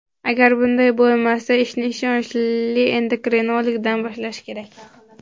Agar bunday bo‘lmasa, ishni ishonchli endokrinologdan boshlash kerak.